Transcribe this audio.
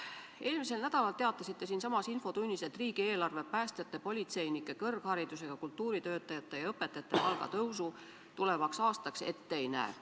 Eelmisel nädalal teatasite siinsamas infotunnis, et riigieelarve päästjate, politseinike, kõrgharidusega kultuuritöötajate ja õpetajate palga tõusu tulevaks aastaks ette ei näe.